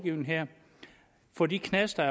få de knaster